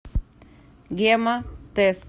гемотест